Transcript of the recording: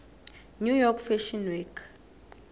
new york fashion week